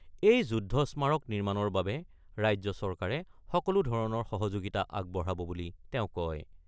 এই যুদ্ধ স্মাৰক নিৰ্মাণৰ বাবে ৰাজ্য চৰকাৰে সকলো ধৰণৰ সহযোগিতা আগবঢ়াব বুলি তেওঁ কয়।